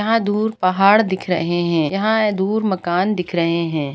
यहाँ दूर पहाड़ दिख रहे हैं यहाँ दूर मकान दिख रहे हैं।